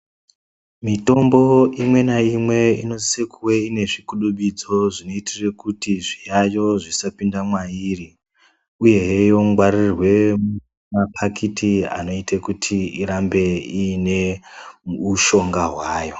Mitombo imwe naimwe inosise kuve ine zvikwidibidzo zvinoitire kuti, zviyaiyo zvisapinda mwairi, uyehe yongwaririrwe muphakiti ,anoite kuti irambe iine ushonga hwayo.